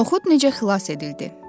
Noxud necə xilas edildi?